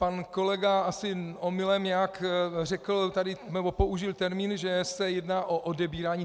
Pan kolega asi omylem nějak tady řekl nebo použil termín, že se jedná o odebírání.